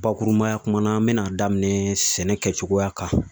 Bakurubaya kuma na n bɛn'a daminɛ sɛnɛ kɛcogoya kan